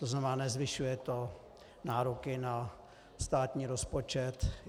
To znamená, nezvyšuje to nároky na státní rozpočet.